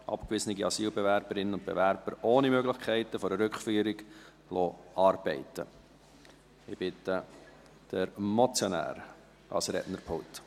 «Abgewiesene Asylbewerberinnen und -bewerber ohne Möglichkeiten einer Rückführung arbeiten lassen».